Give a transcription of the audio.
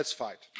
let's fight